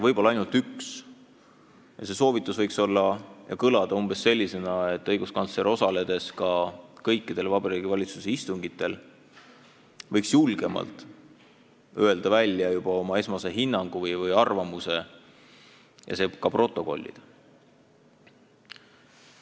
Võib-olla ainult üks, ja see võiks kõlada umbes sellisena, et õiguskantsler võiks ka kõikidel Vabariigi Valitsuse istungitel osaledes julgemalt välja öelda oma esmase hinnangu või arvamuse mingi teema kohta ja see tuleks ka protokollida.